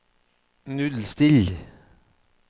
nullstill